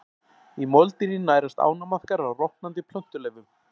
Í moldinni nærast ánamaðkar á rotnandi plöntuleifum.